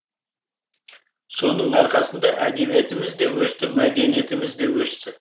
соның арқасында әдебиетіміз де өсті мәдениетіміз де өсті